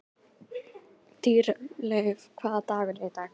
Dýrleif, hvaða dagur er í dag?